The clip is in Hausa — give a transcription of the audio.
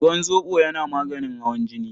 Ruwan zoɓo yana maganin hawan jini.